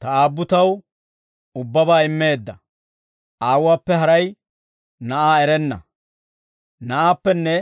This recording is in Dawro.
«Ta Aabbu taw ubbabaa immeedda; Aawuwaappe haray Na'aa erenna; Na'aappenne